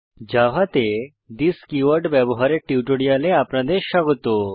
জাভাতে this keyword ব্যবহারের টিউটোরিয়ালে আপনাদের স্বাগত